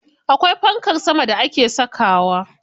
Akwai fankar sama da ake sakawa.